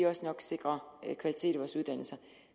også sikre kvalitet i vores uddannelser